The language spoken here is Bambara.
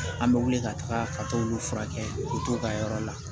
An bɛ wuli ka taaga ka t'olu furakɛ o t'u ka yɔrɔ la